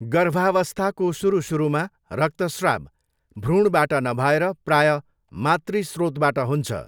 गर्भावस्थाको सुरु सुरुमा रक्तस्राव भ्रूणबाट नभएर प्रायः मातृ स्रोतबाट हुन्छ।